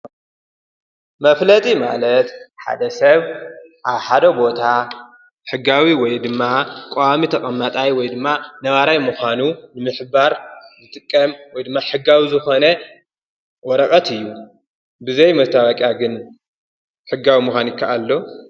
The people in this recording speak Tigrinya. መፍለጢ ማለት ሓደ ሰብ ኣብ ሓደ ቦታ ሕጋዊ ወይ ድማ ቋዋሚ ተቐማጣይ ወይ ድማ ነባራይ ምዃኑ ንምሕባር ዝጥቀም ወይ ድማ ሕጋዊ ዝኾነ ወረቐት እዩ፡፡ ብዘይ መስታዋቅያ ግን ሕጋዊ ምዃን ይከኣል ዶ?